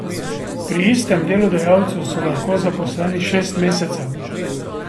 Pri istem delodajalcu so lahko zaposleni šest mesecev.